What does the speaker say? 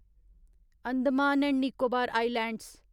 Andaman and Nicobar islands